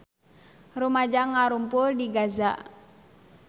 Rumaja ngarumpul di Gaza